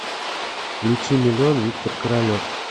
включи миллион виктор королев